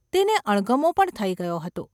તેને અણગમો પણ થઈ ગયો હતો.